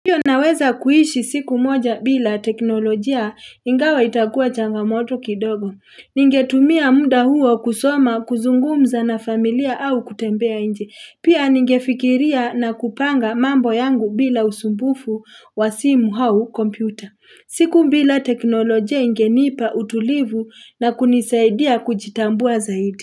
Ndiyo naweza kuishi siku moja bila teknolojia ingawa itakua changamoto kidogo. Ningetumia muda huo kusoma kuzungumza na familia au kutembea nje. Pia ningefikiria na kupanga mambo yangu bila usumbufu wa simu au kompyuta. Siku bila teknolojia ingenipa utulivu na kunisaidia kujitambua zaidi.